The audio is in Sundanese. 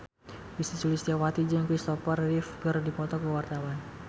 Ussy Sulistyawati jeung Kristopher Reeve keur dipoto ku wartawan